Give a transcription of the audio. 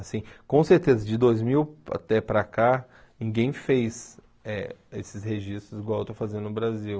Assim, com certeza, de dois mil até para cá, ninguém fez eh esses registros igual eu estou fazendo no Brasil.